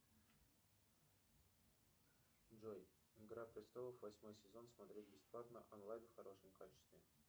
джой игра престолов восьмой сезон смотреть бесплатно онлайн в хорошем качестве